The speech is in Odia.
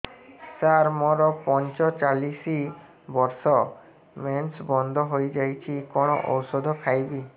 ସାର ମୋର ପଞ୍ଚଚାଳିଶି ବର୍ଷ ମେନ୍ସେସ ବନ୍ଦ ହେଇଯାଇଛି କଣ ଓଷଦ ଖାଇବି